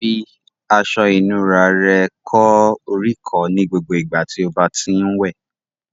Fi aṣọ ìnura rẹ kó oríkọ̀ọ́ ní gbogbo ìgbà tí o bá ti ń wẹ̀